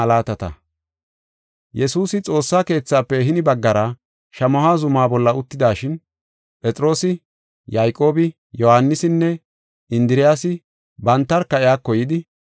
Yesuusi Xoossa keethafe hini baggara Shamaho zuma bolla uttidashin, Phexroosi, Yayqoobi, Yohaanisinne Indiriyasi bantarka iyako yidi,